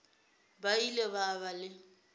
ba ile ba ba le